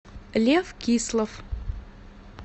лев кислов